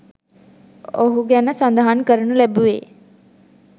ඔහු ගැන සඳහන් කරනු ලැබුවේ